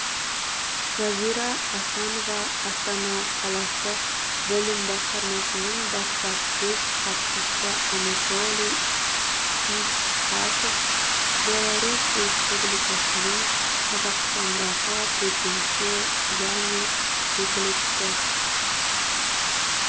жазира асанова астана қаласы білім басқармасының баспасөз хатшысы анатолий ничкасов беларусь республикасының қазақстандағы төтенше және өкілетті